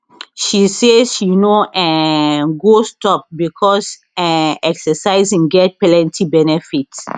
she say she no um go stop becos um exercising get plenty benefit